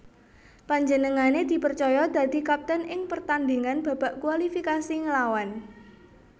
Panjenengané dipercaya dadi kapten ing pertandhingan babak kualifikasi nglawan